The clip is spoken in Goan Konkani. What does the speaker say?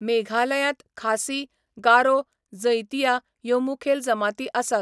मेघालयांत खासी, गारो, जैंतिया ह्यो मुखेल जमाती आसात.